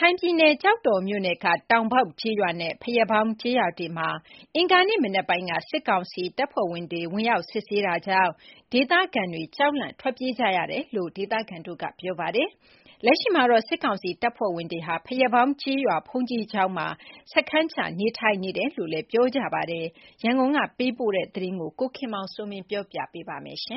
ခိုင်ပြည်နယ် ကျောက်တော်မြို့နယ်က တောင်ပေါက်ကျေးရွာနဲ့ ဘုရားပေါင်းကျေးရွာတွေမှာ ဒီကနေ့ မနက်ပိုင်းက စစ်ကောင်စီတပ်သားတွေ ဝင်ရောက်စစ်ဆေးနေတာကြောင့် ဒေသခံတွေ ကြောက်လန့်ထွက်ပြေးနေကြရတယ်လို့ ဒေသခံတွေကပြောပါတယ်။ လက်ရှိမှာတော့ စစ်ကောင်စီတပ်သားတွေဟာ ဘုရားပေါင်းကျေးရွာ ဘုန်းကြီးကျောင်းမှာ စခန်းချနေထိုင်နေတယ်လို့ ဒေသခံတွေက ပြောပါတယ်။ ဒီအကြောင်းအပြည့်အစုံကိုတော့ ရန်ကုန်ကလာတဲ့သတင်း ကိုခင်မောင်စိုးမင်း က တင်ပြပေးပါမယ်။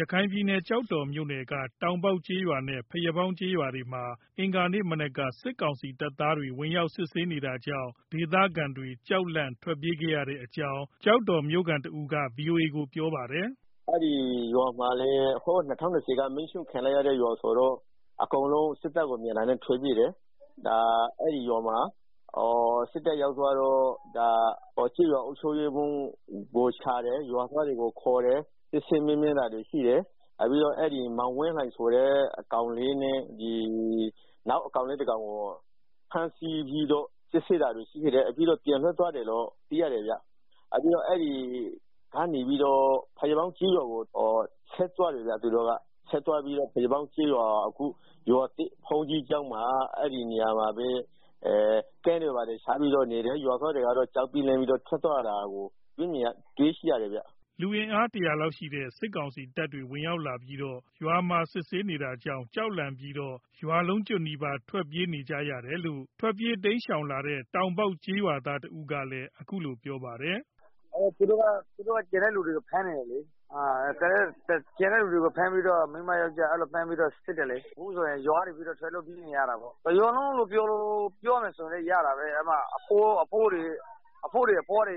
ရခိုင်ပြည်နယ် ကျောက်တော်မြို့နယ်က တောင်ပေါက်ကျေးရွာနဲ့ ဘုရားပေါင်းကျေးရွာတွေမှာ အင်္ဂါနေ့မနက်က စစ်ကောင်စီတပ်သားတွေ ဝင်ရောက်စစ်ဆေးနေတာကြောင့် ဒေသခံတွေ ကြောက်လန့်ထွက်ပြေးခဲ့ရတဲ့အကြောင်း ကျောက်တော်မြို့ခံတဦးက VOA ကို ပြောပါတယ်။ “ အဲဒီရွာတွေက ၂၀၂၀က မီးရှို့ခံရတဲ့ ရွာဆိုတော့ အကုန်လုံး စစ်တပ်ကို မြင်တာနဲ့ ထွက်ပြေးတယ်။ အဲဒီမှာ စစ်တပ်ရောက်သွားတော့ ကျေးရွာအုပ်ချုပ်ရေးမှူးကိုရှာတယ်။ စစ်ဆေးမေးမြန်းတာရှိတယ်။ ပြီးတော့ မောင်ဝင်းလှိုင်ဆိုတဲ့ ကောင်လေးနဲ့ နောက်ကောင်လေးတကောင်ကို ဖမ်းဆီးပြီးတော့ စစ်တယ်။ ပြီးတော့ ပြန်လွတ်ပေးလိုက်တယ်ဗျာ။ အခုတော့ ဘုရားပေါင်း ကျေးရွာဖက်ကိုထွက်သွားတယ်။ အဲဒီရွာက ဘုန်းကြီးကျောင်းမှာ စခန်းချပြီးတော့ နေတယ်။ ဘုရားပေါင်း ကျေးရွာသားတွေလည်း ကြောက်ပြီးတော့ ထွက်ပြေးသွားတာကိုတွေ့ရတယ်ဗျ။” လူအင်အား တရာလောက်ရှိတဲ့ စစ်ကောင်စီတပ်တွေ ဝင်ရောက်ပြီးတော့ ရွာမှာ စစ်ဆေးနေတာကြောင့် ကြောက်လန့်ပြီးတော့ ရွာလုံးကျွတ်နီးပါး ထွက်ပြေးနေရတယ်လို့ ထွက်ပြေးတိမ်းရှောင်လာတဲ့ တောင်ပေါက်ကျေးရွာသားတဦးကပြောပါတယ်။ “ သူတို့က ရွာကလူတွေကို ဖမ်းတယ်လေ။ မိန်းမ ယောကျာ်းအကုန်ဖမ်းပြီးတော့ စစ်တယ်လေ။ အခုဆိုရင် ရွာကနေပြီးတော့ ထွက်လို့ပြေးနေရတာပေါ့။ တရွာလုံးလို့ ပြောလို့ရတာပေါ့။ အဘိုးတွေ အဘွားတွေ ၁၀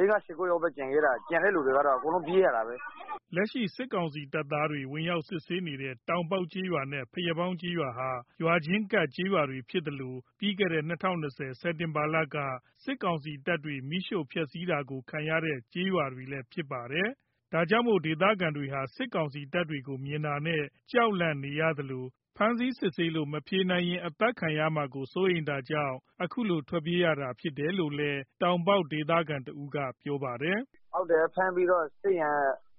ယောက်လောက်ပဲကျန်ခဲ့တာ။ ကျန်တဲ့သူတွေကတော့ အကုန်လုံးပြေး ရတာပါပဲ။” လက်ရှိစစ်ကောင်စီတပ်သားတွေ ဝင်ရောက်စစ်ဆေးနေတဲ့ တောင်ပေါက်ကျေးရွာနဲ့ ဘုရားပေါင်းကျေးရွာဟာ ရွာချင်းကပ်ကျေးရွာတွေ ဖြစ်သလို ပြီးခဲ့တဲ့ ၂၀၂၀ခုနှစ် စက်တင်ဘာလက စစ်ကောင်စီတပ်တွေရဲ့ မီးရှို့ဖျက်စီးတာကို ခံရတဲ့ ကျေးရွာတွေ လည်းဖြစ်ပါတယ်။ ဒါကြောင့်မို့ ဒေသခံတွေဟာ စစ်ကောင်စီတပ်တွေကို မြင်တာနဲ့ ကြောက်လန့်နေရသလို ဖမ်းဆီးစစ်ဆေးလို့ မဖြေနိုင်ရင် အသတ်ခံရမှာကို စိုးရိမ်တာကြောင့် အခုလို ထွက်ပြေးလာတာရဖြစ်တယ်လို့လည်း တောင်ပေါက်ဒေသခံတဦးက ပြောပါတယ်။ “ ဖမ်းပြီးတော့ စစ်ရင်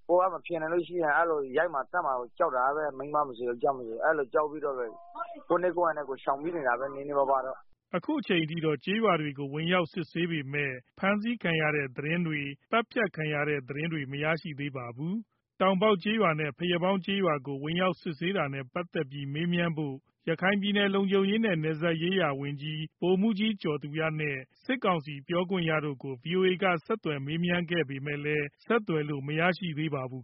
ကိုယ်ကမဖြေနိုင်ရင် ရိုက်မှာ သတ်မှာကို ကြောက်တာပဲ။ မိန်းမ ယောကျာ်းအကုန်လုံးက အဲဒါကြောင့် ကြောက်ပြီးတော့ ကိုယ့်နည်းကိုယ့်ဟန်နဲ့ ထွက်ပြေးနေရတာပါပဲ။” အခုအချိန်အထိတော့ ကျေးရွာတွေကို ဝင်ရောက်စစ်ဆေးပေမဲ့ ဖမ်းဆီးခံရတဲ့ သတင်းတွေ၊ သတ်ဖြတ်ခံရတဲ့ သတင်းတွေ မရရှိသေးပါဘူး။ တောင်ပေါက်ကျေးရွာနဲ့ ဘုရားပေါင်းကျေးရွာတွေကို ဝင်ရောက်စစ်ဆေးနေတာနဲ့ ပတ်သတ်ပြီးမေးမြန်းဖို့ ရခိုင်ပြည်နယ် လုံခြုံရေးနဲ့ နယ်စပ်ရေးရာဝန်ကြီး ဗိုလ်မှူးကြီး ကျော်သူရနဲ့ စစ်ကောင်စီပြောခွင့်ရသူကို ဗွီအိုအေက ဆက်သွယ်ခဲ့ပေမယ့်လည်း ဆက်သွယ်လို့မရရှိသေးပါဘူး